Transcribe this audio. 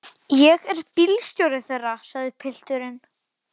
Ég er bílstjóri þeirra, sagði pilturinn.